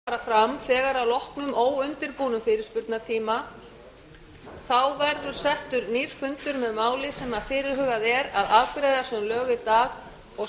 forseti vill geta þess að atkvæðagreiðslur fara fram þegar að loknum óundirbúnum fyrirspurnatíma þá verður settur nýr fundur með máli sem fyrirhugað er að afgreiða sem lög í dag og